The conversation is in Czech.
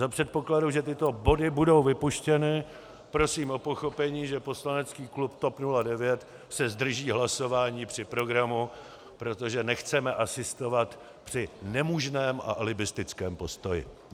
Za předpokladu, že tyto body budou vypuštěny, prosím o pochopení, že poslanecký klub TOP 09 se zdrží hlasování při programu, protože nechceme asistovat při nemožném a alibistickém postoji.